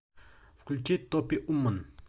включи топи умон